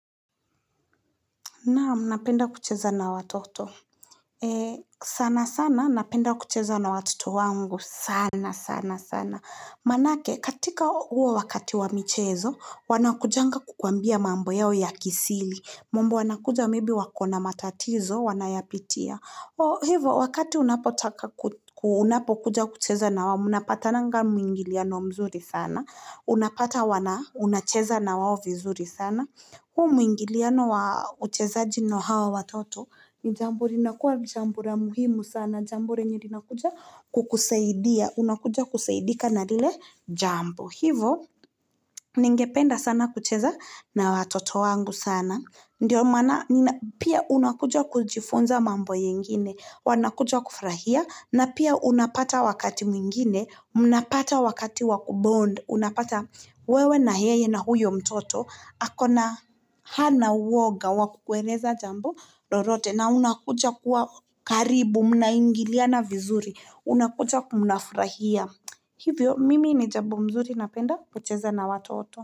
Naamu, napenda kucheza na watoto. Sana sana, napenda kucheza na watoto wangu. Sana sana sana. Maanake, katika huo wakati wamichezo, wanakujanga kukwambia mambo yao ya kisili. Mambo wanakuja maybe wakona matatizo, wanayapitia. Oh, hivo, wakati unapotakakuja unapokuja kucheza na wao, mnapata nga mwingiliano mzuri sana. Unapata wana, unacheza na wao vizuri sana. Hu mwingi liano wa ucheza jino hawa watoto, ni jambo linakuwa ni jambo la muhimu sana, jambo lenye likuja kukusaidia, unakuja kusaidika na lile jambo. Hivo, ningependa sana kucheza na watoto wangu sana Ndiyo maana, pia unakuja kujifunza mambo yengine Wanakuja kufurahia na pia unapata wakati mwingine mnapata wakati wakubond Unapata wewe na heye na huyo mtoto Hakona hana woga wakukweleza jambo lorote na unakuja kuwa karibu, mnaingilia vizuri Unakuja kumnafurahia Hivyo mimi ni jambo mzuri napenda pocheza na watoto.